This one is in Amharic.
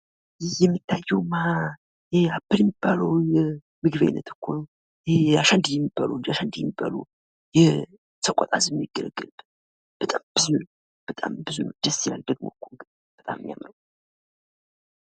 ይህ የሚታየው አፕል ሚባለው የምግብ አይነት እኮ ነው ።ይህ አሸንዲ የሰቆጣ ማህበረሰብ የሚጠቀምበት የምግብ አይነት ነው ።በጣም ደስ የሚል ነው ።